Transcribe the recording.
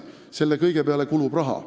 Selle kõige peale kulub raha.